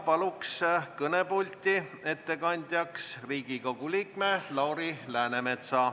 Palun kõnepulti ettekandjaks Riigikogu liikme Lauri Läänemetsa.